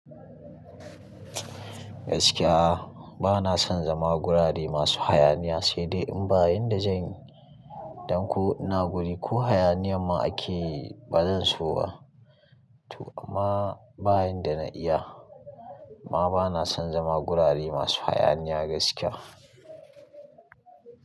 Gaskiya ba na son zama gurare masu hayaniya, sai dai in ba yin da zan yi, don ko ina guri ko hayaniya ma akeyi ba zan so ba. To amma ba yin da na iya. Ma ba na son zama gurare masu hayaniya gaskiya.